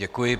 Děkuji.